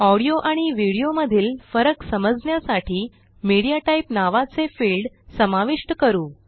audio आणि video मधील फरक समजण्यासाठी मीडियाटाइप नावाचे फील्ड समाविष्ट करू